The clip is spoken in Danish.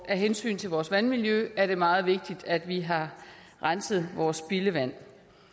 og af hensyn til vores vandmiljø er det meget vigtigt at vi har renset vores spildevand